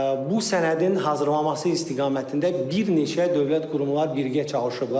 Bu sənədin hazırlanması istiqamətində bir neçə dövlət qurumlar birgə çalışıblar.